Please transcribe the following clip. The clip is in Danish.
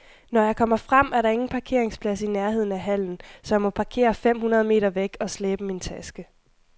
Når jeg kommer frem, er der ingen parkeringsplads i nærheden af hallen, så jeg må parkere fem hundrede meter væk og slæbe min taske.